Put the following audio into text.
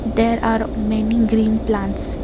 there are many green plants.